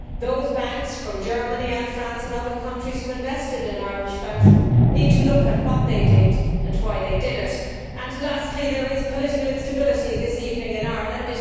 Those banks from Germany and France and other countries who invested in Irish banks need to look at what they did and why they did it. Lastly, there is political instability this evening in Ireland.